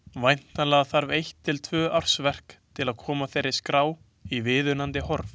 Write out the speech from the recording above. Væntanlega þarf eitt til tvö ársverk til að koma þeirri skrá í viðunandi horf.